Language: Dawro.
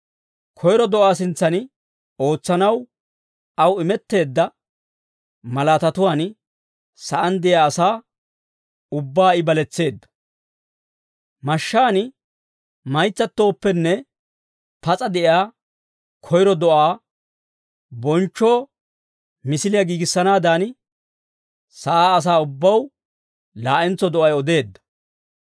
Koyro do'aa sintsan ootsanaw, aw imetteedda malaatatuwaan sa'aan de'iyaa asaa ubbaa I baletseedda. Mashshaan maytsattooppenne pas'a de'iyaa koyro do'aa bonchchoo misiliyaa giigissanaadan, sa'aa asaa ubbaw laa'entso do'ay odeedda.